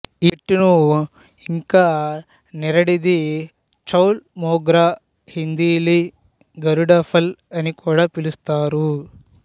ఈ చెట్టును ఇంకానిరడిది చౌల్ మోగ్రా హిందీలీ గరుడఫల్ అనికూడా పిలుస్తారు